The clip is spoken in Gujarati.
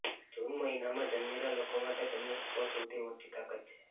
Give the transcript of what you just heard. જૂન મહિનામાં જન્મેલા લોકો માટે તેમનો સ્વભાવ સૌથી મોટી તાકાત છે